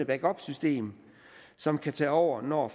backupsystem som kan tage over når